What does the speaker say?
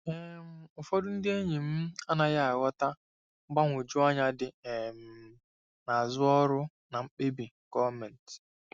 um Ụfọdụ ndị enyi m anaghị aghọta mgbagwoju anya dị um n'azụ ọrụ na mkpebi gọọmentị.